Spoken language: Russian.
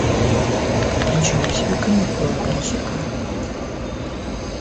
ничего себе каникулы включи ка